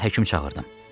Mən həkim çağırdım.